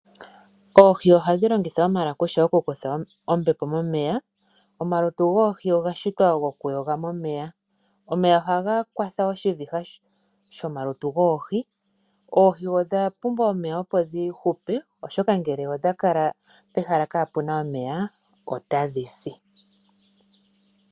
Oohi ohadhi longitha omalakusha oku kutha ombepo momeya . Omalutu goohi oga shitwa goku yoga momeya Omeya ohaga kwatha oshiviha shomalutu goohi . Oohi odha pumbwa omeya opo dhi hupe oshoka ngele odhakala pehala kapena omeya otadhisi.